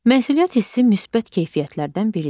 Məsuliyyət hissi müsbət keyfiyyətlərdən biridir.